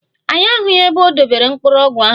Anyị ahụghị ebe o dobere mkpụrụ ọgwụ ahụ.